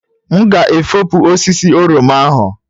M ga-efopụ osisi oroma ahụ